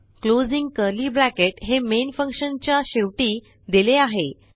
closing curly bracket हे main फंक्शनच्या शेवटी दिले आहे